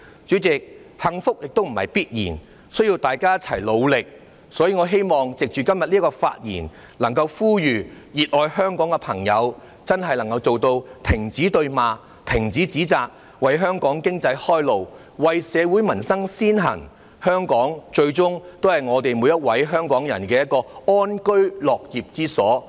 主席，幸福不是必然的，需要大家一同努力，所以，我希望藉着今天的發言，呼籲熱愛香港的朋友真的做到停止對罵，停止指責，為香港經濟開路，為社會民生先行，香港最終也是每位香港人的安居樂業之所。